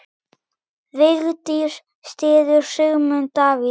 Vigdís styður Sigmund Davíð.